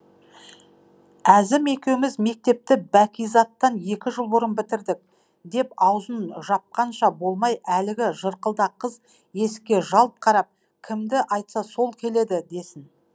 әзім екеуміз мектепті бәкизаттан екі жыл бұрын бітірдік деп аузын жапқанша болмай әлгі жырқылдақ қыз есікке жалт қарап кімді айтса сол келеді десін